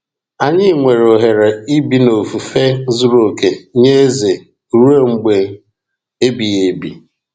Anyị nwere ohere ibi n’ofufe zuru oke nye Eze ruo mgbe ebighị ebi.